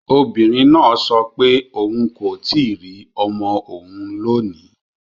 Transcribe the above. Obìnrin náà sọ pé òun kò tíì rí ọmọ òun lónìí